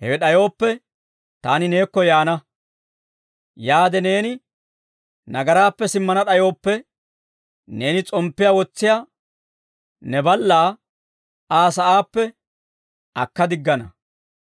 Hewe d'ayooppe, taani neekko yaana; yaade neeni ne nagaraappe simmana d'ayooppe, neeni s'omppiyaa wotsiyaa ne ballaa Aa sa'aappe akka diggana.